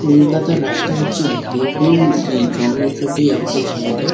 কলকাতার রাস্তা হচ্ছে বহু-উ মানে এই জনবসতি একটা জায়গা।